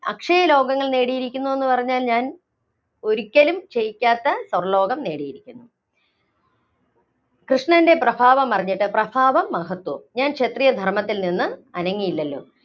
അക്ഷയലോകങ്ങള്‍ നേടിയിരിക്കുന്നു എന്നു പറഞ്ഞാല്‍ ഞാന്‍ ഒരിയ്ക്കലും ക്ഷയിക്കാത്ത സ്വര്‍ലോകം നേടിയിരിക്കുന്നു. കൃഷ്ണന്‍റെ പ്രഭാവമറിഞ്ഞിട്ട്, പ്രഭാവം - മഹത്വം ഞാന്‍ ക്ഷത്രിയ ധര്‍മ്മത്തില്‍ നിന്ന് അനങ്ങിയില്ലല്ലോ